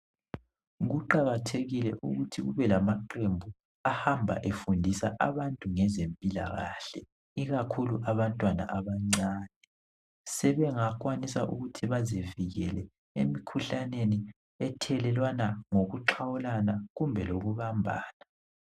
kuqakathekile ukuthi kube lamaqembu ahamba efundisa abantu ngeempilakahle ikakhulu abantwana abancane sebenakwanisa ukuthi bazivikele emikhuhlaneni ethelelwana ngokuqhawulana kumbeloku bambana